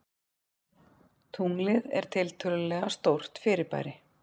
Tunglið er tiltölulega stórt fyrirbæri.